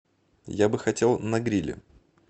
я бы хотел на гриле